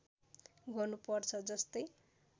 गर्नु पर्छ जस्तै